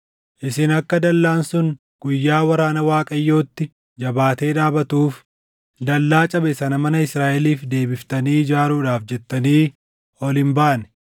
Isin akka dallaan sun guyyaa waraana Waaqayyootti jabaatee dhaabatuuf dallaa cabe sana mana Israaʼeliif deebiftanii ijaaruudhaaf jettanii ol hin baane.